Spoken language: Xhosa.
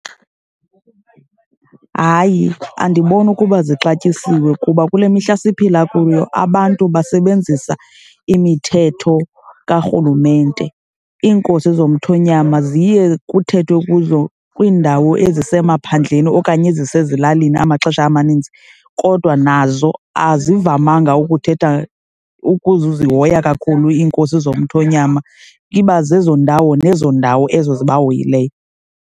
Hayi, andiboni ukuba zixatyisiwe kuba kule mihla siphila kuyo abantu basebenzisa imithetho kaRhulumente. Iinkosi zomthonyama ziye kuthethwe kuzo kwiindawo ezisemaphandleni okanye ezisezilalini amaxesha amaninzi. Kodwa nazo azivamanga ukuthetha, ukuzihoya kakhulu iinkosi zomthonyama. Iba zezo ndawo nezo ndawo ezo zibahoyileyo.